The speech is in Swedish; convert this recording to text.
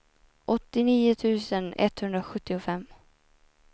åttionio tusen etthundrasjuttiofem